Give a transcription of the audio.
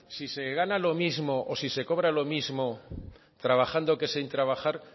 si se gana lo mismo o si se cobra lo mismo trabajando que sin trabajar